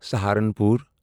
Saharanpur